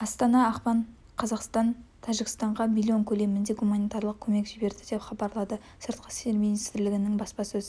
астана ақпан қаз қазақстан тәжікстанға млн көлемінде гуманитарлық көмек жіберді деп хабарлады сыртқы істер министрлігінің баспасөз